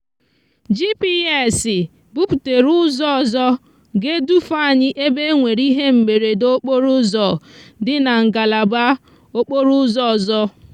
gps buputere úzò ozo ga edufe anyi ebe enwere ihe mberede okporo uzo di na ngalaba okporo úzò òzò.